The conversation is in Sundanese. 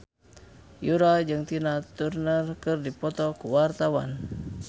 Yura jeung Tina Turner keur dipoto ku wartawan